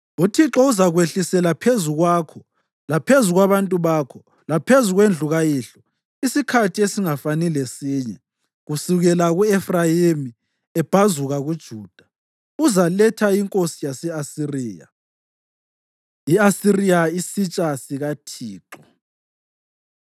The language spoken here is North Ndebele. UThixo uzakwehlisela phezu kwakho laphezu kwabantu bakho, laphezu kwendlu kayihlo, isikhathi esingafani lesinye kusukela u-Efrayimi ebhazuka kuJuda, uzaletha inkosi yase-Asiriya.” I-Asiriya, Isitsha SikaThixo